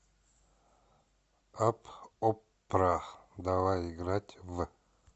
апп оппра давай играть в